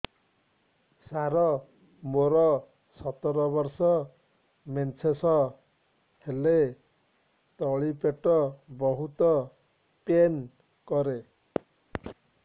ସାର ମୋର ସତର ବର୍ଷ ମେନ୍ସେସ ହେଲେ ତଳି ପେଟ ବହୁତ ପେନ୍ କରେ